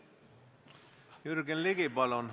Jürgen Ligi, palun!